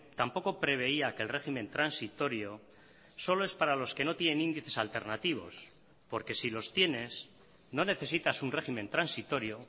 tampoco preveía que el régimen transitorio solo es para los que no tienen índices alternativos porque si los tienes no necesitas un régimen transitorio